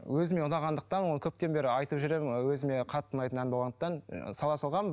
өзіме ұнағандықтан ол көптен бері айтып жүремін өзіме қатты ұнайтын ән болғандықтан сала салғанмын